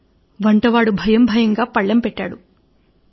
భయపడిన వంటవాడు పళ్లెం పెట్టాడు